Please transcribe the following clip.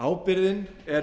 að ábyrgðin er